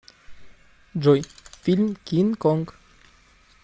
джой фильм кин конг